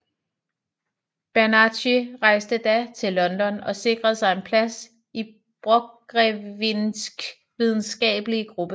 Bernacchi rejste da til London og sikrede sig en plads i Borchgrevinks videnskabelige gruppe